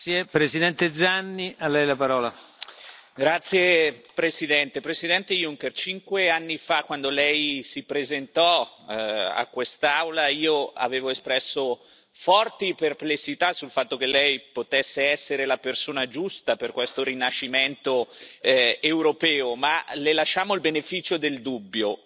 Signor Presidente, onorevoli colleghi, Presidente Juncker, cinque anni fa, quando Lei si presentò a quest'Aula, io avevo espresso forti perplessità sul fatto che Lei potesse essere la persona giusta per questo rinascimento europeo, ma Le lasciammo il beneficio del dubbio.